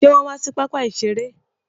Ṣe wọn wà sí pápá iṣere?